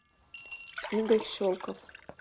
игорь щелков